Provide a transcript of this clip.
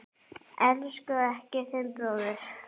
Elskaðu ekki þinn bróður.